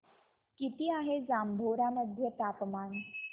किती आहे जांभोरा मध्ये तापमान